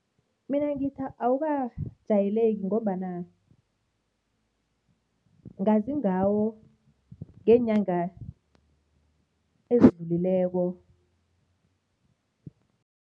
Mina ngithi awukajayeleki ngombana ngazi ngawo ngeenyanga ezidlulileko.